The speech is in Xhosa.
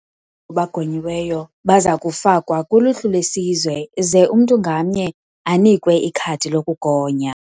Bagonyiweyo baza kufakwa kuluhlu lwesizwe ze umntu ngamnye anikwe ikhadi lokugonya.